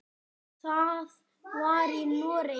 Það var í Noregi.